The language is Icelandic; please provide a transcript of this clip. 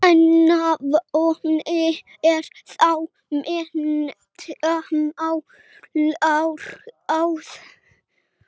Eina vonin er þá menntamálaráð.